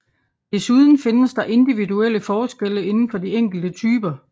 Desuden findes der individuelle forskelle inden for de enkelte typer